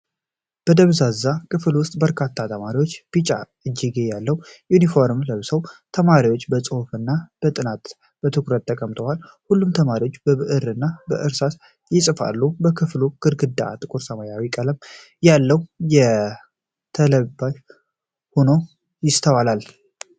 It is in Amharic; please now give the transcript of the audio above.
በደብዛዛ ክፍል ውስጥ በርካታ ተማሪዎች ቢጫ እጅጌ ያለው ዩኒፎርም ለብሰዋል። ተማሪዎቹ በጽሑፍ እና በጥናት ላይ በትኩረት ተጠምደዋል። ሁሉም ተማሪዎች በብዕርና በእርሳስ ይጽፋሉ፣ የክፍሉ ግድግዳ ጥቁር ሰማያዊ ቀለም ያለውና የተበላሸ ሆኖ ይስተዋላል።